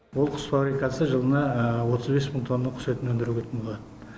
ол құс фабрикасы жылына отыз бес мың тонна құс етін өндіретін болады